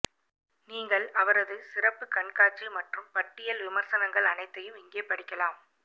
நீங்கள் அவரது சிறப்பு கண்காட்சி மற்றும் பட்டியல் விமர்சனங்கள் அனைத்தையும் இங்கே படிக்கலாம்